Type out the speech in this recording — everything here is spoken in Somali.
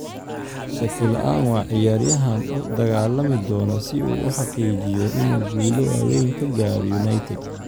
Shaki la'aan, waa ciyaaryahan u dagaalami doona si uu u xaqiijiyo inuu guulo waaweyn ka gaaro United.